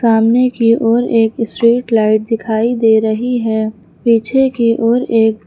सामने की ओर एक स्ट्रीट लाइट दिखाई दे रही है पीछे की ओर एक--